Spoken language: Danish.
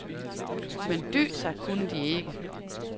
Men dy sig kunne de ikke.